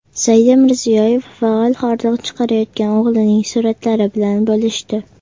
Saida Mirziyoyeva faol hordiq chiqarayotgan o‘g‘lining suratlari bilan bo‘lishdi .